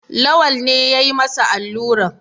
Lawal ne ya yi masa alluran.